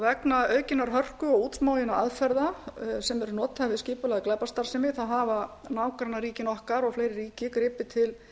vegna aukinnar hörku og útsmoginna aðferða sem eru notaðar við skipulagða glæpastarfsemi þá hafa nágrannaríkin okkar og fleiri ríki gripið til